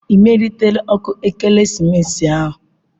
Ị melitela ọkụ ekeresimesi ahụ?